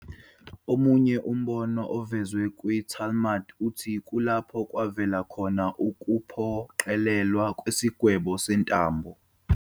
Omunye umbono ovezwe kwiTalmud uthi kulapho kwavela khona ukuphoqelelwa kwesigwebo sentambo.